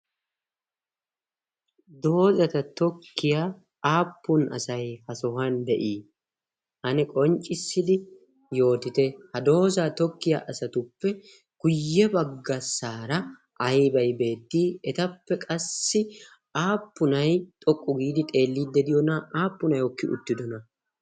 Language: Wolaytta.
doozata tokkiyaa aappun asai ha sohuwan de7ii? ane qonccissidi yootite ha doozaa tokkiyaa asatuppe kuyye baggassaara aibai beettii? etappe qassi aappunai xoqqu giidi xeelliiddediyoona? aappunay hokki uttidona?